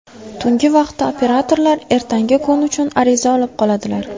Tungi vaqtda operatorlar ertangi kun uchun ariza olib qoladilar.